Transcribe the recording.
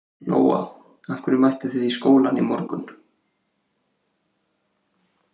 Lóa: Af hverju mættu þið í skólann í morgun?